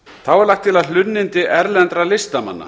þá er lagt til að hlunnindi erlendra listamanna